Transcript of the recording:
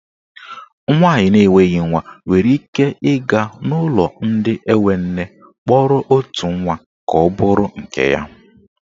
Nwaanyị na enweghị nwa nwere ike ịga n'ụlọ ndị enwe nne kpọrọ otu nwa ka ọ bụrụ nke ya.